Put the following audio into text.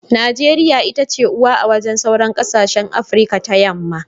Najeriya itace uwa a wajen sauran kasashen afirika ta yamma.